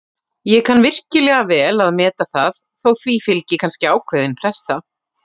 Ég kann virkilega vel að meta það, þó því fylgi kannski ákveðin pressa.